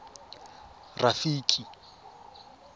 rafiki